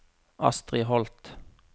Astri Holth